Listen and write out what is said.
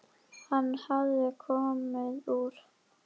Hann hafði komið úr